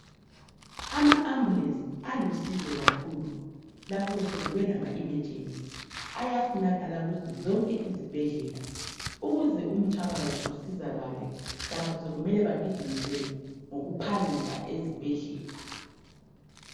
Ama "Ambulance " alusizo kakhulu lapho sokube lama"emergency".Ayafunakala kuzo zonke izibhedlela ukuze umthwakazi usizakale lapho sokumele bagijinyiselwe ngokuphangisa ezibhedlela.